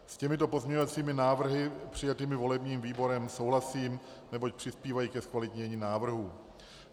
S těmito pozměňovacími návrhy přijatými volebním výborem souhlasím, neboť přispívají ke zkvalitnění návrhu.